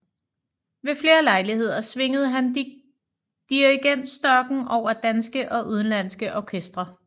Ved flere lejligheder svingede han dirigentstokken over danske og udenlandske orkestre